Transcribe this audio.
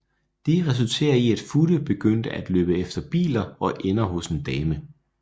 Det resulterer i at Futte begynde at løbe efter biler og ender hos en dame